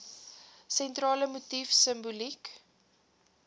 sentrale motief simboliek